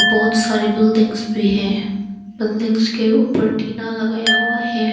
बहोत सारी बिल्डिंगस भी है बिल्डिंगस के ऊपर टीना लगाया हुआ है।